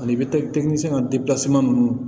Ani ninnu